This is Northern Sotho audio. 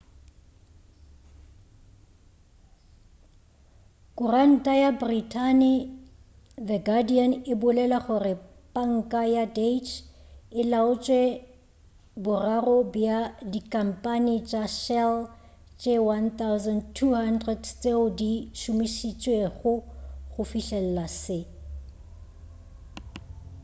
kuranta ya britain the guardian e bolela gore panka ya deutscche e laotše boraro bja dikhampane tša shell tše 1200 tšeo di šomišitšwego go fihlelela se